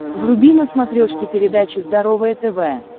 вруби на смотрешке передачу здоровое тв